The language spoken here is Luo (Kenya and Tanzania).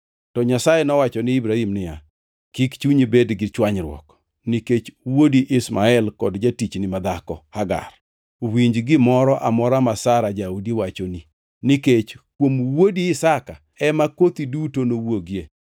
To Nyasaye nowacho ne Ibrahim niya, “Kik chunyi bed gi chwanyruok nikech wuodi Ishmael kod jatichni madhako, Hagar. Winj gimoro amora ma Sara jaodi wachoni; nikech kuom wuodi Isaka ema kothi duto nowuogie.